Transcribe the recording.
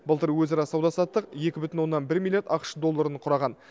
былтыр өзара сауда саттық екі бүтін онна бір миллиард ақш долларын құраған